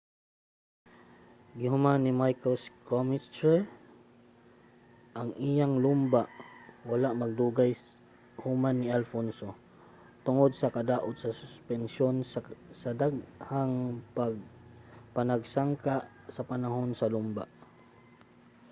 gihuman ni michael schumacher ang iyang lumba wala madugay human ni alonso tungod sa kadaot sa suspensyon sa daghang panagsangka sa panahon sa lumba